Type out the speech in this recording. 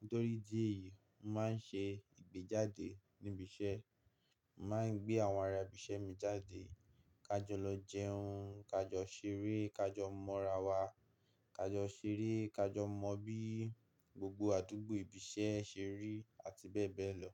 Nítorí idí eyìí, mo màá ń ṣe ìgbéjáde níbi iṣẹ́. Màá ń gbé àwọn ará ibi iṣẹ́ mi jáde, ká jọ lọ jẹun, ká jọ ṣeré, ká jọ mọ́ra wa, ká jọ ṣeré, ká jọ mọ bí gbogbo àdúgbò ibi iṣẹ́ ṣe rí àti bẹ́ẹ̀ bẹ́ẹ̀ lọ.